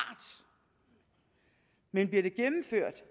men bliver det gennemført